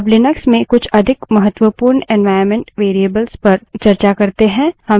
अब लिनक्स में कुछ अधिक महत्वपूर्ण environment variables पर चर्चा करते है